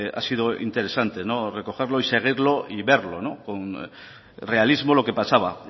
ha sido interesante recogerlo y seguirlo y verlo con realismo lo que pasaba